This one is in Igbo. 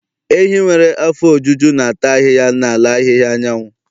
Ehi nwere afọ ojuju na-ata ahịhịa n'ala ahịhịa anyanwụ.